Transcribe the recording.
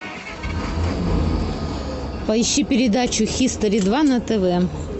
поищи передачу хистори два на тв